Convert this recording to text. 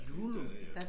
Er det ikke dernede af